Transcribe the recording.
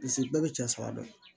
Pise bɛɛ bɛ cɛ saba dɔn